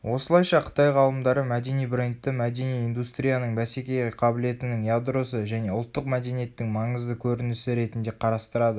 осылайша қытай ғалымдары мәдени брендті мәдени индустрияның бәсекеге қабілетінің ядросы және ұлттық мәдениеттің маңызды көрінісі ретінде қарастырады